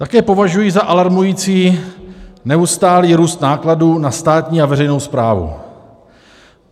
Také považuji za alarmující neustálý růst nákladů na státní a veřejnou správu.